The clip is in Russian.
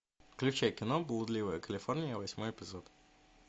включай кино блудливая калифорния восьмой эпизод